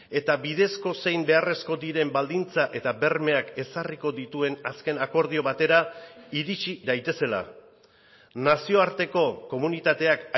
eta bidezko zein beharrezko diren baldintza eta bermeak ezarriko dituen azken akordio batera iritsi daitezela nazioarteko komunitateak